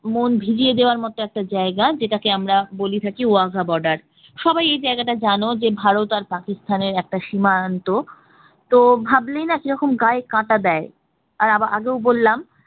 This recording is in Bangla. মন জুড়িয়ে দেওয়ার মতো একটা জায়গা যেটাকে আমরা বলে থাকি ওয়াঘা border সবাই এই জায়গাটা জানো, ভারত আর পাকিস্তানের সীমান্ত তো ভাবলেই না কি রকম গায়ে কাটা দেয়। আর আগেও বললাম